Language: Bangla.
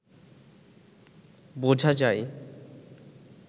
বোঝা যায়